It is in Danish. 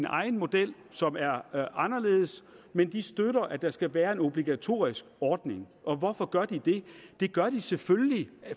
egen model som er er anderledes men de støtter at der skal være en obligatorisk ordning og hvorfor gør de det det gør de selvfølgelig